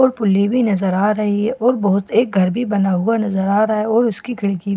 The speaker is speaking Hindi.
और पुली भी नज़र आ रही है और बहुत एक घर भी बना हुआ नज़र आ रहा है और उसकी खिड़की --